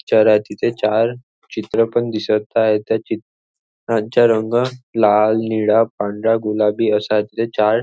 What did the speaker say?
आहे तिथे चार चित्र पण दिसतत त्या चित्रांचा रंग लाल नीळा पांढरा गुलाबी असा तिथे चार--